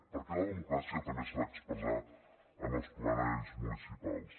perquè la democràcia també s’ha d’expressar en els plenaris municipals